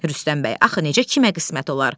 Rüstəm bəy, axı necə kimə qismət olar?